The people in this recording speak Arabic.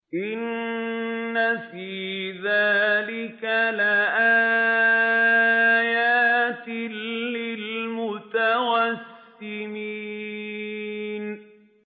إِنَّ فِي ذَٰلِكَ لَآيَاتٍ لِّلْمُتَوَسِّمِينَ